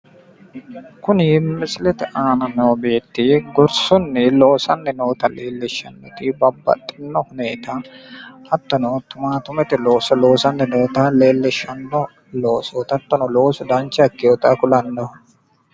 Kuni misilete aana noo beetti gorsunni loosanni noota leellishshannoti babbaxxino huneta hattono timaattimete looso loosanni noota leellishshanno loosooti hattono loosu dancha ikkinota kulanno